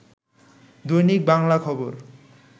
দৈনিক বাংলা খবর